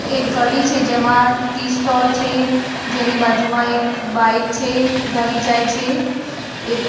એક ગલી છે જેમા ટી સ્ટોલ છે. જેની બાજુમાં એક બાઇક છે. ગલી જાય છે. એક --